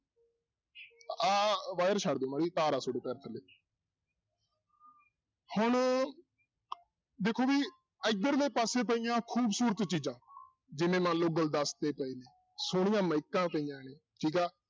ਆਹ wire ਛੱਡ ਦਓ ਤਾਰ ਆ ਤੁਹਾਡੇੇ ਪੈਰ ਥੱਲੇ ਹੁਣ ਦੇਖੋ ਵੀ ਇੱਧਰਲੇ ਪਾਸੇ ਪਈਆਂ ਖੂਬਸ਼ੂਰਤ ਚੀਜ਼ਾਂ ਜਿਵੇਂ ਮੰਨ ਲਓ ਗੁਲਦਸ਼ਤੇ ਪਏ ਨੇ ਸੋਹਣੀਆਂ ਮਾਈਕਾਂ ਪਈਆਂ ਨੇ ਠੀਕ ਆ